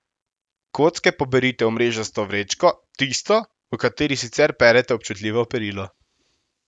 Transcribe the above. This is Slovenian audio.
Kocke poberite v mrežasto vrečko, tisto, v kateri sicer perete občutljivo perilo.